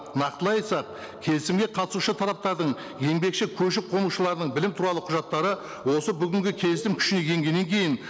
нақтылай айтсақ келісімге қатысушы тараптардың еңбекші көші қонушылардың білім туралы құжаттары осы бүгінгі келісім күшіне енгеннен кейін